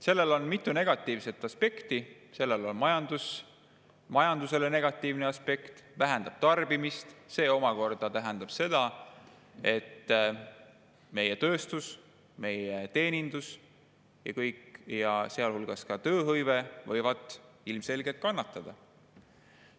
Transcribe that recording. Sellel on mitu negatiivset aspekti: sellel on majandusele negatiivne aspekt, see vähendab tarbimist ja see omakorda tähendab seda, et meie tööstus, meie teenindus ja kõik, sealhulgas tööhõive, võivad ilmselgelt kannatada.